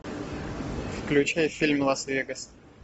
включай фильм лас вегас